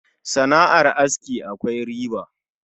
Sana'ar aski akwai riba